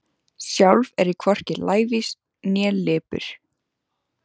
Sjálf er ég hvorki lævís né lipur.